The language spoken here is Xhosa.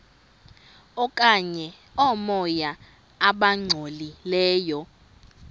okanye oomoya abangcolileyo